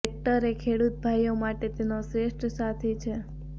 tractor એ ખેડૂત ભાઈઓ માટે તેનો શ્રેષ્ઠ સાથી છે